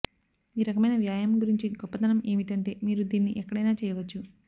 ఈ రకమైన వ్యాయామం గురించి గొప్పదనం ఏమిటంటే మీరు దీన్ని ఎక్కడైనా చేయవచ్చు